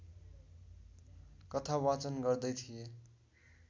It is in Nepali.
कथावाचन गर्दै थिए